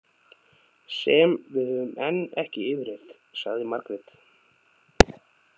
Sem við höfum enn ekki yfirheyrt, sagði Margrét.